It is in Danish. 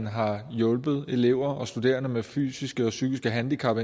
har hjulpet elever og studerende med fysiske og psykiske handicap